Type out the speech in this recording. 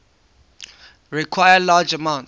require large amounts